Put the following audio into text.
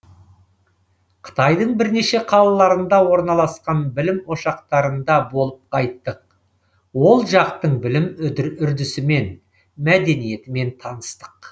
қытайдың бірнеше қалаларында орналасқан білім ошақтарында болып қайттық ол жақтың білім үрдісімен мәдениетімен таныстық